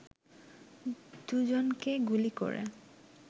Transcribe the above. দুইজনকে গুলি করে